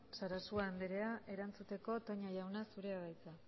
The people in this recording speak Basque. sarasua andrea erantzuteko toña jauna zurea da hitza